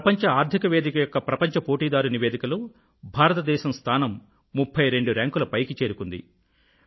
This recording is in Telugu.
ప్రపంచ ఆర్థిక వేదిక యొక్క ప్రపంచ పోటీదారు నివేదికలో భారతదేశం స్థానం 32 ర్యాంకుల పైకి చేరుకుంది